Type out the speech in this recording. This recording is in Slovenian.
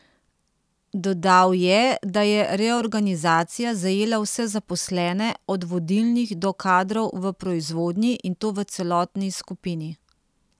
Dodal je, da je reorganizacija zajela vse zaposlene, od vodilnih do kadrov v proizvodnji, in to v celotni skupini.